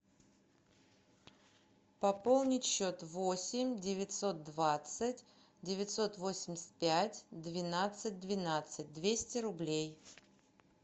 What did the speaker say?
пополнить счет восемь девятьсот двадцать девятьсот восемьдесят пять двенадцать двенадцать двести рублей